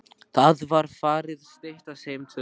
Það var farið að styttast heim til